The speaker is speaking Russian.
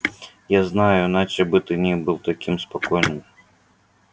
я знаю иначе бы ты не был таким спокойным